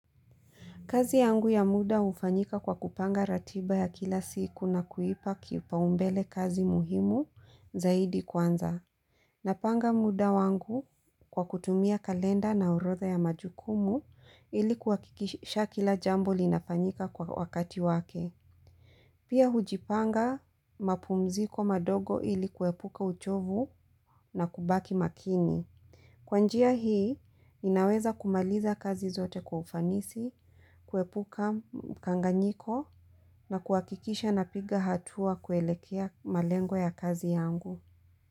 Kazi yangu ya muda hufanyika kwa kupanga ratiba ya kila siku na kuipa kipaumbele kazi muhimu zaidi kwanza. Napanga muda wangu kwa kutumia kalenda na urodha ya majukumu ili kuhakikisha kila jambo linafanyika kwa wakati wake. Pia hujipanga mapumziko madogo ili kuepuka uchovu na kubaki makini. Kwanjia hii, inaweza kumaliza kazi zote kwa ufanisi, kuepuka mkanganyiko na kuhakikisha na piga hatua kuelekea malengo ya kazi yangu.